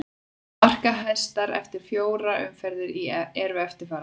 Markahæstar eftir í fjórar umferð eru eftirfarandi: